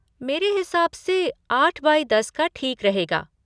मेरे हिसाब से आठ बाई दस का ठीक रहेगा।